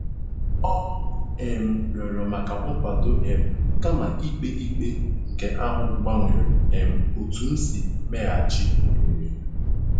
Ọ um rịọrọ maka nkwado um kama ikpe ikpe, nke ahụ gbanwere um otú m si meghachi omume.